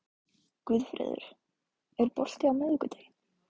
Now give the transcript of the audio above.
Guðfreður, er bolti á miðvikudaginn?